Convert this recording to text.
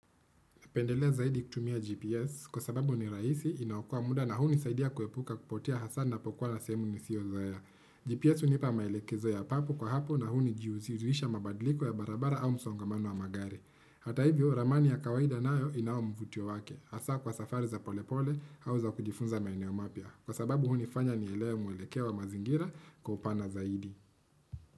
Pendelea zaidi kutumia GPS kwa sababu ni rahisi, inaokoa muda na hunisaidia kuepuka kupotea hasa napokuwa sehemu nisiyozoea. GPS hunipa maelekezo ya papo kwa hapo na hunijiuzirisha mabadliko ya barabara au msongamano wa magari. Hata hivyo ramani ya kawaida nayo inayo mvutio wake. Hasa kwa safari za pole pole au za kujifunza maeneo mapya. Kwa sababu hunifanya nielewe mwelekeo wa mazingira kwa upana zaidi.